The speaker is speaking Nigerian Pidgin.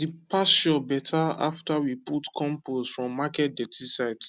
the pasture better after we put compost from market dirty site